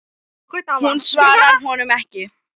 Hún svarar honum ekki.